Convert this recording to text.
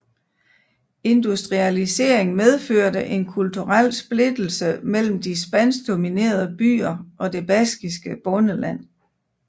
Industrialisering medførte en kulturel splittelse mellem de spansk dominerede byer og det baskiske bondeland